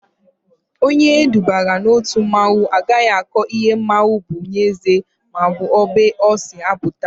Onye edubara n'otu mmanwụ agaghị akọ ihe mmanwụ bụ n'ezie maọbụ ebe o si apụta